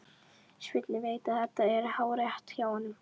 Svenni veit að þetta er hárrétt hjá honum.